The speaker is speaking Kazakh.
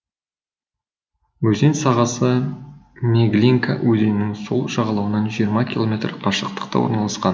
өзен сағасы меглинка өзенінің сол жағалауынан жиырма километр қашықтықта орналасқан